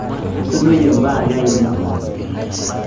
isudoyie imbaa ake ainei